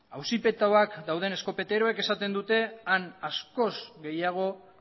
auzipetuak dauden eskopeteroek esaten dute han askoz gehiago